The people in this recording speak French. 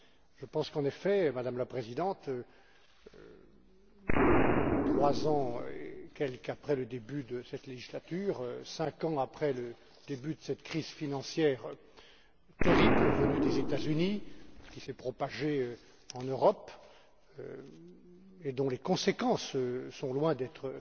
Je pense qu'en effet, Madame la Présidente, un peu plus de trois après le début de cette législature, cinq ans après le début de cette crise financière terrible venue des États Unis, qui s'est propagée en Europe, et dont les conséquences sont loin d'être